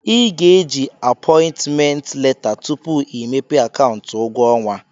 Ị ga eji apọị ntment leta tupu i mepee akaụntụ ụgwọ ọnwa.